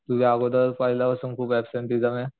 तुझावर पहिलेच खूप अबसेन्टीसमे